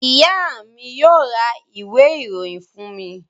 Ìyá mi yóò ra ìwé-ìròyìn fún mi.